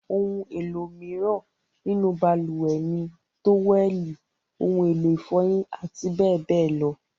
Àwọn ohun-èlò mìíràn nínú balùwẹ̀ ni; tówẹ́lì, ohun-èlò ìfọyín àti bẹ́ẹ̀ bẹ́ẹ̀ lọ.